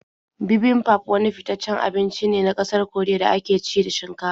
Bibimbap wani fitaccen abinci ne na ƙasar Koriya da ake ci da shinkafa.